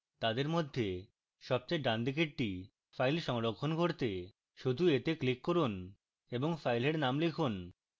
তাদের মধ্যে সবচেয়ে ডানদিকেরটি file সংরক্ষণ করতে শুধু এতে click করুন এবং file name লিখুন